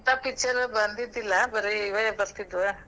ಇಂತಾ picture ಬಂದಿದಿಲ್ಲ ಬರೇ ಇವೆ ಬರ್ತಿದ್ವ.